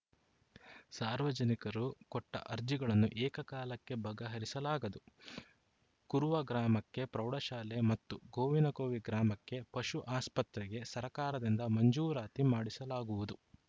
ಸಾರ್ವಜನಿಕರು ಕೊಟ್ಟಅರ್ಜಿಗಳನ್ನು ಏಕಕಾಲಕ್ಕೆ ಬಗಹರಿಸಲಾಗದು ಕುರುವ ಗ್ರಾಮಕ್ಕೆ ಪ್ರೌಢಶಾಲೆ ಮತ್ತು ಗೋವಿನ ಕೋವಿ ಗ್ರಾಮಕ್ಕೆ ಪಶು ಆಸ್ಪತ್ರೆಗೆ ಸರ್ಕಾರದಿಂದ ಮಂಜೂರಾತಿ ಮಾಡಿಸಲಾಗುವುದು